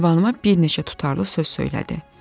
Ünvanıma bir neçə tutarlı söz söylədi.